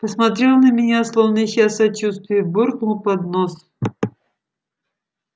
посмотрел на меня словно ища сочувствия буркнул под нос